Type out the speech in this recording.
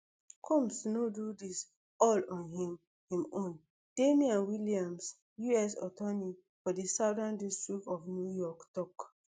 combs no do dis all on im im own damian williams us attorney for di southern district of new york tok